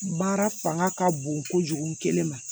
Baara fanga ka bon kojugu kelen ma